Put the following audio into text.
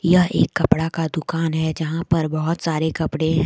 यह एक कपड़ा का दुकान है जहां पर बहुत सारे कपड़े हैं।